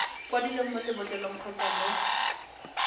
kwadilweng mo lebotlolong kgotsa mo